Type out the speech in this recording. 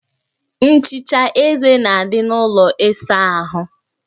Nchicha eze na-adị n'ụlọ ịsa ahụ